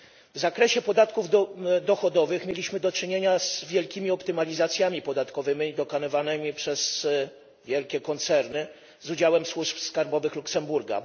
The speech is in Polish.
W zakresie podatków dochodowych mieliśmy do czynienia z wielkimi optymalizacjami podatkowymi dokonywanymi przez wielkie koncerny z udziałem służb skarbowych Luksemburga.